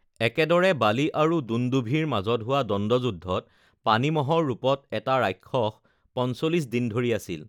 একেদৰে, বালি আৰু দুণ্ডুভিৰ মাজত হোৱা দ্বণ্ডযুদ্ধত পানী ম'হৰ ৰূপত এটা ৰাক্ষস ৪৫ দিন ধৰি আছিল৷